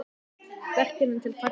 Verkefni til að takast á við?